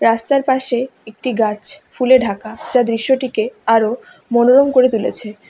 রাস্তার পাশে একটি গাছ ফুলে ঢাকা যা দৃশ্যটিকে আরও মনোরম করে তুলেছে।